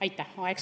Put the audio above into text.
Aitäh!